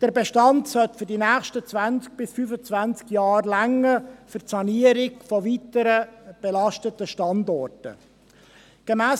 Der Bestand sollte für 20–25 Jahre für die Sanierung von belasteten Standorten ausreichen.